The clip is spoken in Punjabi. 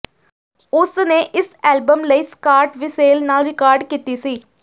ਉਸਨੇ ਇਸ ਐਲਬਮ ਲਈ ਸਕਾਟ ਵਿਸੇਲ ਨਾਲ ਰਿਕਾਰਡ ਕੀਤਾ ਸੀ